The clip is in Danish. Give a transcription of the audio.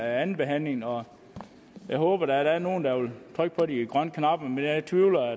andenbehandlingen og jeg håber da at der er nogle der vil trykke på de grønne knapper men jeg tvivler